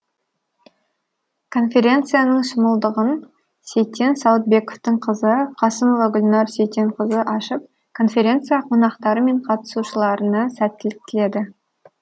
конференцияның шымылдығын сейтен сауытбековтың қызы қасымова гүлнар сейтенқызы ашып конференция қонақтары мен қатысушыларына сәттілік тіледі